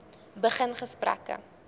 begin gesprekke